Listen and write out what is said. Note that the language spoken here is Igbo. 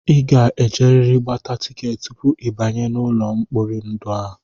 I ga-ejerịrị gbata tikeetị tupu ị banye n'ụlọ mkpori ndụ a!